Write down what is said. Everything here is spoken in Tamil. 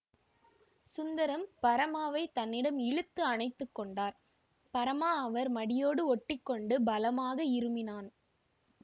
சுந்தரம் பரமாவை தன்னிடம் இழுத்து அணைத்து கொண்டார் பரமா அவர் மடியோடு ஒட்டி கொண்டு பலமாக இருமினான்